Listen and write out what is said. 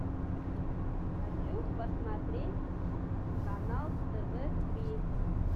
хочу посмотреть канал тв три